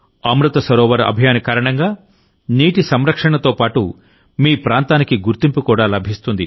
అమృత్ సరోవర్ అభియాన్ కారణంగానీటి సంరక్షణతో పాటుమీ ప్రాంతానికి గుర్తింపు కూడా లభిస్తుంది